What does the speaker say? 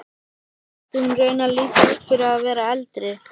Mér þótti hún raunar líta út fyrir að vera eldri.